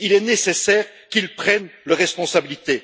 Il est nécessaire qu'ils prennent leurs responsabilités.